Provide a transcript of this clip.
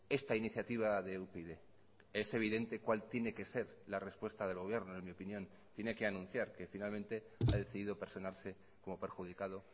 esta iniciativa de upyd es evidente cuál tiene que ser la respuesta del gobierno en mi opinión tiene que anunciar que finalmente ha decidido personarse como perjudicado